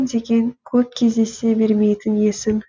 деген көп кездесе бермейтін есім